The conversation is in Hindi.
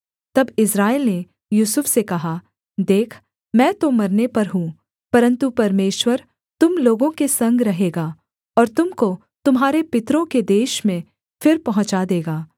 तब इस्राएल ने यूसुफ से कहा देख मैं तो मरने पर हूँ परन्तु परमेश्वर तुम लोगों के संग रहेगा और तुम को तुम्हारे पितरों के देश में फिर पहुँचा देगा